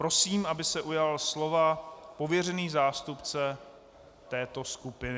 Prosím, aby se ujal slova pověřený zástupce této skupiny.